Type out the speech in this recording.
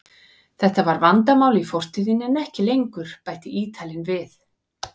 Þetta var vandamál í fortíðinni en ekki lengur, bætti Ítalinn við.